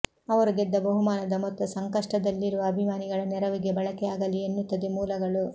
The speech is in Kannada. ಅವರು ಗೆದ್ದ ಬಹುಮಾನದ ಮೊತ್ತ ಸಂಕಷ್ಟದಲ್ಲಿರುವ ಅಭಿಮಾನಿಗಳ ನೆರವಿಗೆ ಬಳಕೆಯಾಗಲಿದೆ ಎನ್ನುತ್ತವೆ ಮೂಲಗಳು